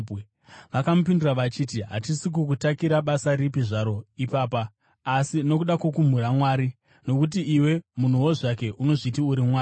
Vakamupindura vachiti, “Hatisi kukutakira basa ripi zvaro ipapa, asi nokuda kwokumhura Mwari, nokuti iwe, munhuwo zvake, unozviti uri Mwari.”